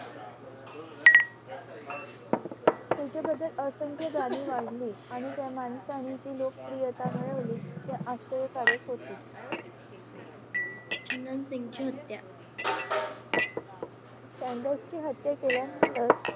त्यांच्या बाबत जाणीव वाढली आणि त्या माणसांची लोकप्रियता वाढली हे आश्चर्यकारक होते चुनन सिंग ची हत्या ची हत्या केल्यानंतर